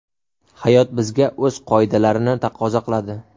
Hayot bizga o‘z qoidalarini taqozo qiladi.